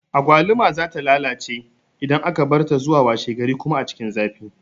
Agwaluma za ta lalace idan aka barta zuwa washe gari kuma a cikin zafi